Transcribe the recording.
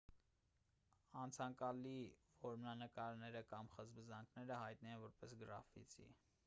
անցանկալի որմնանկարները կամ խզբզանքները հայտնի են որպես գրաֆիտի